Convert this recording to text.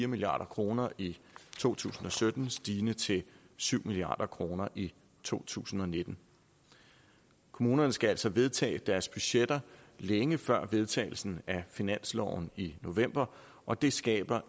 milliard kroner i to tusind og sytten stigende til syv milliard kroner i to tusind og nitten kommunerne skal altså vedtage deres budgetter længe før vedtagelsen af finansloven i november og det skaber